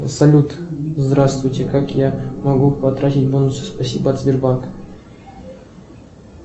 салют здравствуйте как я могу потратить бонусы спасибо от сбербанка